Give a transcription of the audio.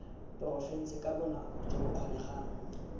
porofense ka bonako jo bokgonegang